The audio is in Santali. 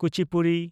ᱠᱩᱪᱤᱯᱩᱰᱤ